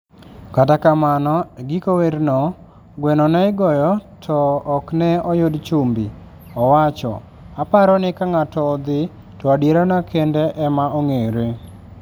Kata kamano, e giko werno, gweno ne igoyo to ok ne oyud chumbi, owacho. "Aparo ni ka ng'ato odhi, to adierane kende ema ong'ere.